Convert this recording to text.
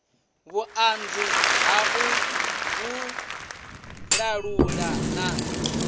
vhuṱanzi ha u vhalulula na